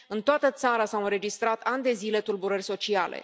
În toată țara s au înregistrat, ani de zile, tulburări sociale.